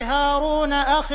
هَارُونَ أَخِي